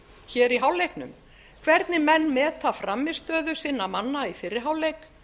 hér í hálfleiknum hvernig menn meta frammistöðu sinna manna í fyrri hálfleik